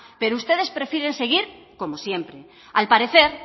pero ustedes prefieren seguir como siempre al parecer